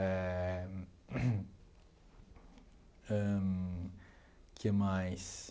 Eh ãh que mais?